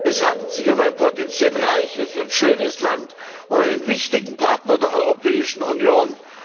Es handelt sich um ein potenziell reiches und schönes Land und einen wichtigen Partner der Europäischen Union.